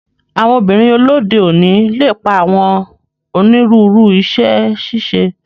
Àwọn obinrin lode oni lepa awọn oniruuru iṣẹ-ṣiṣe